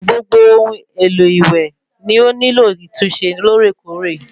Gbogbo ohun èlo ìwé ni o nilo ìtúnṣe lóòrèkóòrè